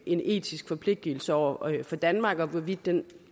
en etisk forpligtigelse over for danmark og hvorvidt den